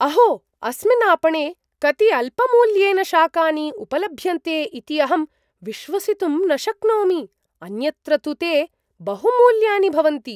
अहो! अस्मिन् आपणे कति अल्पमूल्येन शाकानि उपलभ्यन्ते इति अहं विश्वसितुं न शक्नोमि, अन्यत्र तु ते बहुमूल्यानि भवन्ति!